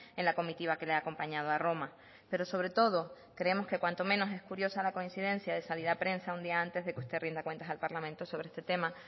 en la comitiva que le ha acompañado a roma pero sobre todo creemos que cuanto menos es curiosa salir a prensa un día antes de que usted rinda cuentas al parlamento sobre este tema